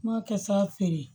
M'a kɛ sa feere